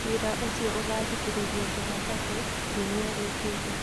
Cira ũcio ũgathikĩrĩrio jumatatũ kiumia gĩũkĩte.